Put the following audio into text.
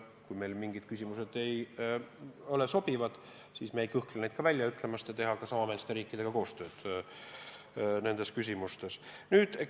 Kui meile mingid punktid ei ole sobivad, siis me ei kõhkle neid ka välja ütlemast, me teeme samameelsete riikidega nendes küsimustes koostööd.